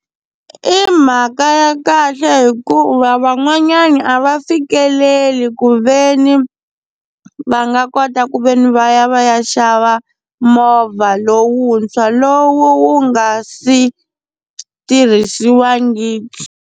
I mhaka ya kahle hikuva van'wanyana a va fikeleli ku ve ni va nga kota ku ve ni va ya va ya xava movha lowuntshwa lowu nga si tirhisiwangiki.